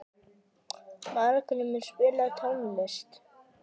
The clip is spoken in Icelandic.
Margrímur, spilaðu tónlist.